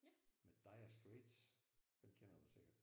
Med Dire Straits. Dem kender du sikkert